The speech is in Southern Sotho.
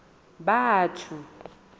batho